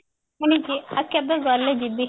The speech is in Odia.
ଶୁଣିଛି ଆଉ କେବେ ଗଲେ ଯିବି